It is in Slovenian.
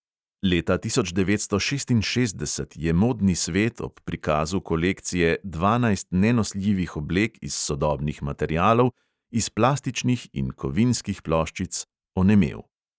Leta tisoč devetsto šestinšestdeset je modni svet ob prikazu kolekcije "dvanajst nenosljivih oblek iz sodobnih materialov", iz plastičnih in kovinskih ploščic onemel.